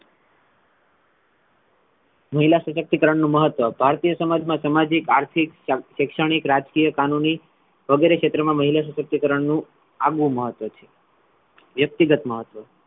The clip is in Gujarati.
મહિલા સશક્તિકરણ નુ મહત્વ ભારતીય સમાજ મા સામાજિક, આર્થિક, શૈક્ષણીક, રાજકીય, કાનૂની વગેરે ક્ષેત્રમાં મહિલા સશક્તિકારણ મા આગવું મહત્વ છે વ્યત્કિગત મહત્વ છે.